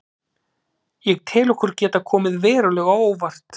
Ég tel okkur geta komið verulega á óvart.